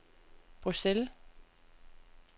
Bruxelles